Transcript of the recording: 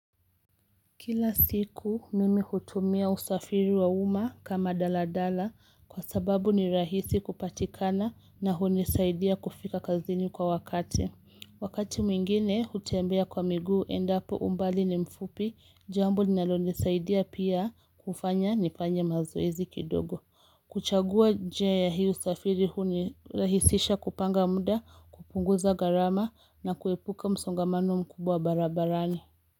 Kila siku mimi hutumia usafiri wa umma kama daladala kwa sababu ni rahisi kupatikana na hunisaidia kufika kazini kwa wakati. Wakati mwingine hutembea kwa miguu endapo umbali ni mfupi jambo linalonisaidia pia kufanya nipanye mazoezi kidogo. Kuchagua jia ya hii usafiri hunirahisisha kupanga muda kupunguza gharama na kuepuka msongamano mkubwa barabarani.